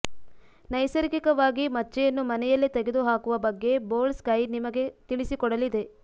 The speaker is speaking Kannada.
ನೈಸರ್ಗಿಕವಾಗಿ ಮಚ್ಚೆಯನ್ನು ಮನೆಯಲ್ಲೇ ತೆಗೆದುಹಾಕುವ ಬಗ್ಗೆ ಬೋಲ್ಡ್ ಸ್ಕೈ ನಿಮಗೆ ತಿಳಿಸಿಕೊಡಲಿದೆ